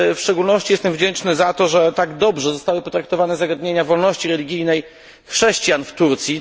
Jestem w szczególności wdzięczny za to, że tak dobrze zostały potraktowane zagadnienia wolności religijnej chrześcijan w Turcji.